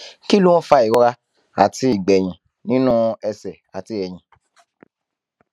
kí ló ń fa ìrora àti ìgbéyín nínú ẹsè àti èyìn